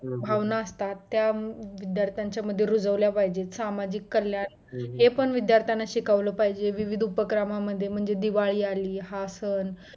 भावना असतात त्या दर त्यांच्यामध्ये रुजवल्या पाहिजेत सामाजिक कल्याण हे पण विद्दार्थ्याना शिकवलं पाहिजे विविध उपक्रमा म्हणजे दिवाळी आली हा सण